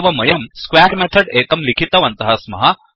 एवं वयं square method एकं लिखितवन्तः स्मः